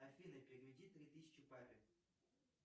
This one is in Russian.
афина переведи три тысячи папе